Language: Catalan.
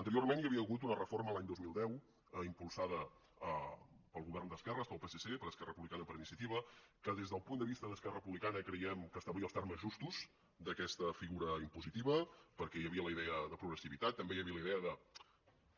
anteriorment hi havia hagut una reforma l’any dos mil deu impulsada pel govern d’esquerres pel psc per esquerra republicana i per iniciativa que des del punt de vista d’esquerra republicana creiem que establia els termes justos d’aquesta figura impositiva perquè hi havia la idea de progressivitat també hi havia la idea